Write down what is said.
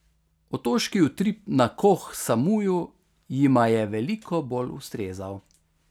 Otoški utrip na Koh Samuju jima je veliko bolj ustrezal.